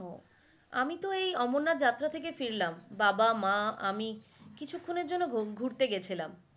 আমি তো ওই অমরনাথ যাত্র্রা থাকে ফিরলাম বাবা, মা, আমি কিছুক্ষনের জন্য বন ঘুরতে গেছিলাম।